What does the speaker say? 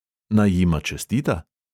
Naj jima čestita?